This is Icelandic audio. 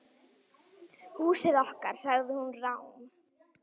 Húsið okkar.- sagði hún rám.